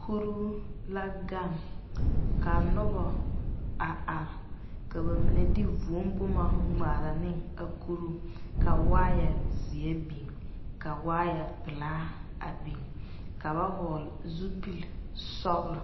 Kurro la gaŋ ka noba a are, ka ba mine de vūū boma a ŋmaare ne a kurro ka wire ziɛ biŋ ka wire Pelee a biŋ ka ba vɔgle zupelee sɔglo.